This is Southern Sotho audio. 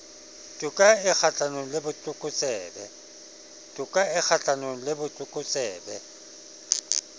toka e kgahlanong le botlokotsebe